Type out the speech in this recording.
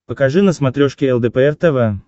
покажи на смотрешке лдпр тв